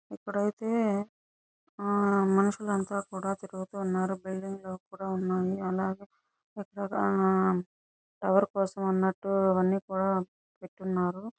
ఇప్పుడైతే ఆహ్ మనుషులు అంత కూడా తిరుగుతూ ఉన్నారు. బిల్డింగ్ లోపల కూడా ఉన్నారు. అలాగే ఆహ్ చక్కగా ఎవరి కోసం అన్నట్టు అవన్నీ కూడా పెట్టి ఉన్నారు.